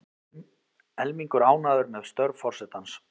Helmingur ánægður með störf forsetans